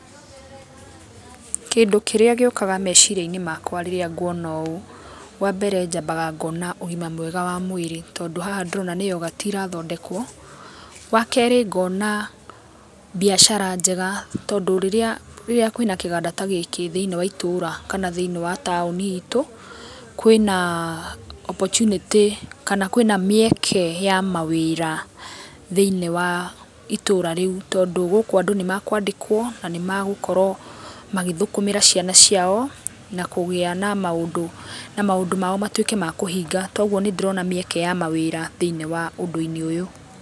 Kĩndũ kĩrĩa gĩũkaga meciria-inĩ makwa rĩrĩa ngũona ũũ, wambere njambaga ngona ũgĩma mwega wa mwĩrĩ, tondũ haha ndĩrona nĩ yogati irathondekwo. Wa kerĩ, ngona mbiacara njega, tondũ rĩrĩa kwĩna kĩganda ta gĩkĩ thĩiniĩ wa itũũra, kana thĩiniĩ wa taũni itũ kwĩna opportunity, kana kwĩna mĩeke ya mawĩra thĩiniĩ wa itũũra rĩu tondũ, gũkũ andũ nĩ makwandĩkwo, na nĩ magũkorwo magĩthũkũmĩra ciana ciao, na kũgĩa na maũndũ, na maũndũ mao matũĩke ma kũhinga. Togũo nĩ ndĩrona mĩeke ya mawĩra thĩiniĩ wa ũndũ-inĩ ũyũ.